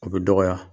O bɛ dɔgɔya